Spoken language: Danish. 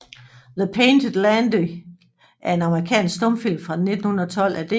The Painted Lady er en amerikansk stumfilm fra 1912 af D